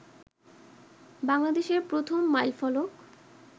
বাংলাদেশের প্রথম মাইল ফলক